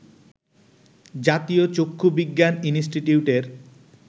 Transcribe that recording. জাতীয় চক্ষু বিজ্ঞান ইনষ্টিটিউটের